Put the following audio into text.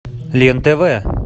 лен тв